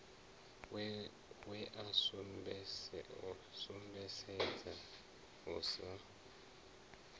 we a sumbedzesa u sa